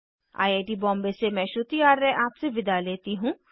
I I T Bombay से मैं श्रुति आर्य अब आपसे विदा लेती हूँ